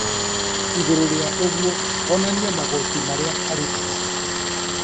Igũrũ rĩa ũguo onanie magoti marĩa arĩhaga